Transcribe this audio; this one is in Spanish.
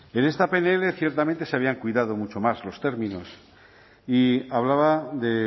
en esta pnl ciertamente se habían cuidado mucho más los términos y hablaba de